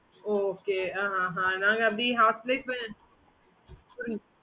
okay mam